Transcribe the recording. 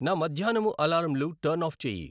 నా మధ్యాహ్నము అలారంలు టర్న్ ఆఫ్ చేయి